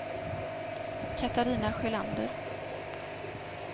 Catarina Sjölander